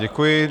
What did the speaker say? Děkuji.